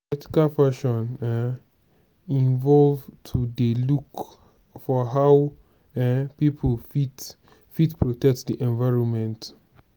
ethical fashion um involve to dey look for how um pipo fit fit protect di environment